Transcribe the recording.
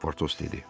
Portos dedi.